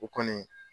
O kɔni